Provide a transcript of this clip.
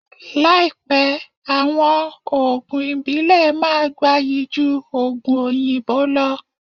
Láípẹ àwọn òògùn ìbílè máà gbáyí jú òògùn òyìnbó lọ